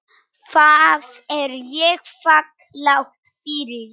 Það er ég þakklát fyrir.